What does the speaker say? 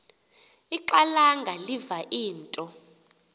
ixhalanga liva into